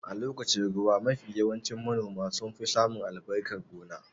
A lokacin ruwa mafi yawanci manoma sun fi samin albarkan gona